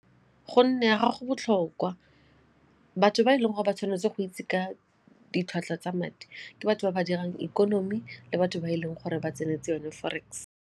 Gonne ya ga go botlhokwa, batho ba e leng gore ba tshwanetse go itse ka ditlhwatlhwa tsa madi ke batho ba ba dirang ikonomi le batho ba e leng gore ba tsenetse yone forex.